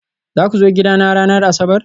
Za ku zo gidana ranar Asabar?